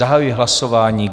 Zahajuji hlasování.